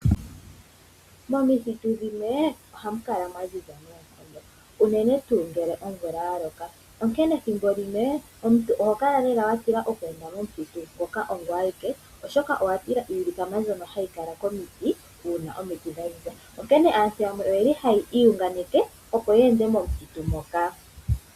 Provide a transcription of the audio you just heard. Momithitu dhimwe ohamukala mwaziza noonkondo unene tuu ngele omvula yaloka. Ethimbo limwe omuntu oho kala watila okweenda momuthitu ngoka ongoye awike oshoka owatila iilikama ndyono hayi kala komiti uuna omiti dhaziza onkene aantu yamwe ohaya iyunganeke opo ya ende momuthitu moka.